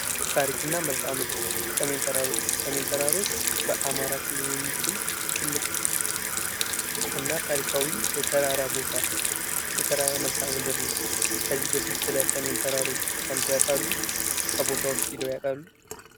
ታሪክና መልክዓ ምድር የሰሜን ተራሮች በአማራ ክልል የሚገኝ ትልቅ እና ታሪካዊ የተራራ ቦታ የተራራ መልካም ምድር ከዚህ በፊት ስለ ሰሜን ተራሮች ሰምተው ያውቃሉ? ከቦታውስ ሄድው ያውቃሉ?